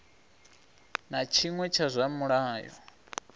na tshiṅwe tsha zwa mulayo